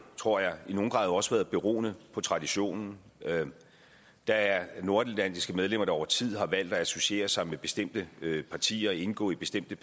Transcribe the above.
tror jeg i nogen grad også beroet på traditionen der er nordatlantiske medlemmer der over tid har valgt at associere sig med bestemte partier og indgå i bestemte